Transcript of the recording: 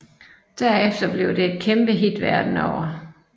Derefter blev det et kæmpehit verden over